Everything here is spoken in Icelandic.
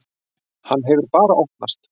Hann hefur bara opnast.